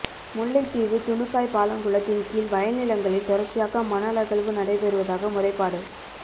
முல்லைத்தீவு துணுக்காய் பாலங்குளத்தின் கீழ் வயல் நிலங்களில் தொடர்ச்சியாக மணல் அகழ்வு நடைபெறுவதாக முறைப்பாடு